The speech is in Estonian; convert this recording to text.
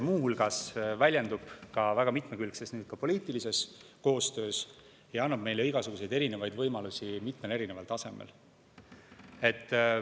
Muu hulgas väljendub see väga mitmekülgses poliitilises koostöös ja annab meile igasuguseid erinevaid võimalusi mitmel erineval tasemel.